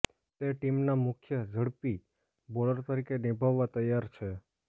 તે ટીમના મુખ્ય ઝડપી બોલર તરીકે નિભાવવા તૈયાર છે